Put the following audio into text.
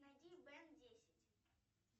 найди бен десять